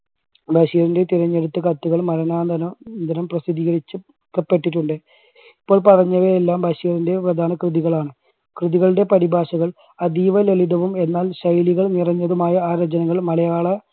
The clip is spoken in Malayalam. ബഷീറിൻറെ തെരഞ്ഞെടുത്ത കത്തുകൾ മരണാന്തരം~ന്തരം പ്രസിദ്ധീകരിച്ചു ഇപ്പപ്പെട്ടിട്ടുണ്ട്. ഇപ്പോൾ പറഞ്ഞവയെല്ലാം ബഷീറിൻറെ പ്രധാന കൃതികളാണ്. കൃതികളുടെ പരിഭാഷകൾ അതീവ ലളിതവും എന്നാൽ ശൈലികൾ നിറഞ്ഞതുമായ ആ രചനകൾ മലയാള